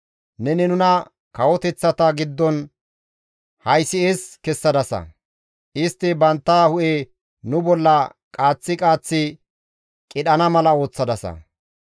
Neni nuna kawoteththata giddon haysi7es kessadasa; istti bantta hu7e nu bolla qaaththi qaaththi qidhana mala ooththadasa.